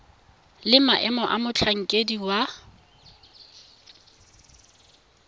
le maemo a motlhankedi wa